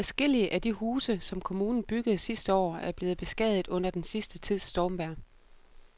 Adskillige af de huse, som kommunen byggede sidste år, er blevet beskadiget under den sidste tids stormvejr.